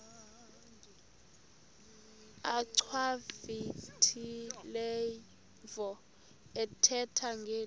achwavitilevo ethetha ngeli